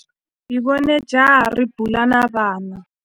Hi vone jaha ri bula na vana.